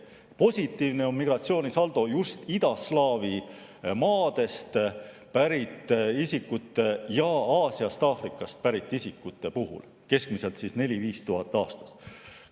Positiivne on migratsioonisaldo just idaslaavi maadest pärit isikute ning Aasiast ja Aafrikast pärit isikute puhul, keskmiselt 4000–5000 aastas.